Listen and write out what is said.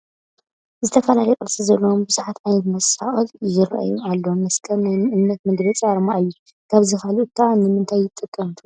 ዝተፈላለየ ቅርፂ ዘለዎም ብዙሓት ዓይነት መሳቕል ይርአዩ ኣለዉ፡፡ መስቀል ናይ እምነት መግለፂ ኣርማ እዩ፡፡ ካብዚ ካልእ ኸ ንምንታይ ይጠቅም ትብሉ?